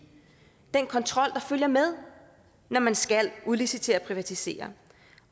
den kontrol der følger med når man skal udlicitere og privatisere